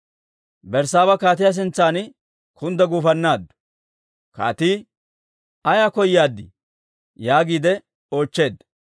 Berssaaba kaatiyaa sintsan kundda guufannaaddu. Kaatii, «Ayaa koyaadii?» yaagiide oochcheedda.